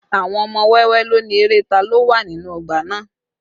Àwọn ọmọ wẹ́wẹ́ ló ni eré ta lo wà nínú ọgbà náà